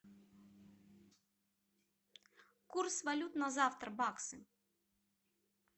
курс валют на завтра баксы